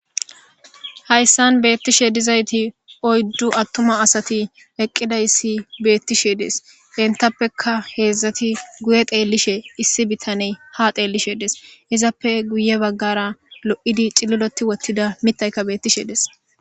Hayssan beettishe dizayti oyddu attuma asati eqqida issi beettishe dees entappeka heedzdzati guye xeellishe issi bittaney ha xeellishe dees izappe guye baggara lo'idi cililoti wottida mitayka beettishe des.